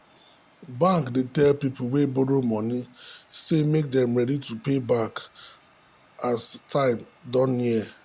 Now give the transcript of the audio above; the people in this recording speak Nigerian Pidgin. bank /dey tell people wey borrow money say make dem ready to pay back as time don near.